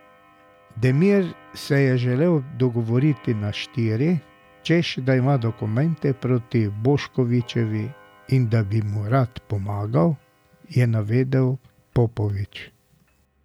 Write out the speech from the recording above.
Demiri se je želel pogovoriti na štiri, češ da ima dokumente proti Boškovićevi in da bi mu rad pomagal, je navedel Popovič.